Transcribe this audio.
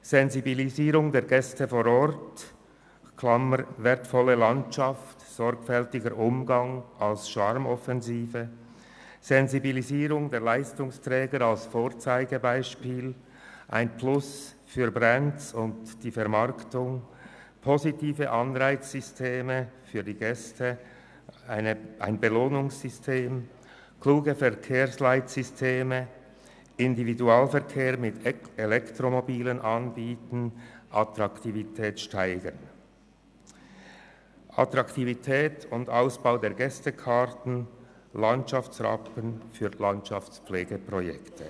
Sensibilisierung der Gäste vor Ort für die wertvolle Landschaft und den sorgfältigen Umgang, Sensibilisierung der Leistungsträger als Vorzeigebeispiele für «Brands» und Vermarktung, positive Anreize für die Gäste in Form eines Belohnungssystems, kluge Verkehrsleitsysteme zur Steigerung der Attraktivität wie zum Beispiel das Anbieten von Elektromobilen für den Individualverkehr, den Ausbau der Gästekarten und zum Beispiel ein Landschaftsrappen für Landschaftspflegeprojekte.